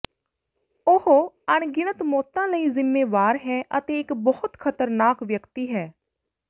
ਉਹ ਅਣਗਿਣਤ ਮੌਤਾਂ ਲਈ ਜਿੰਮੇਵਾਰ ਹੈ ਅਤੇ ਇੱਕ ਬਹੁਤ ਖਤਰਨਾਕ ਵਿਅਕਤੀ ਹੈ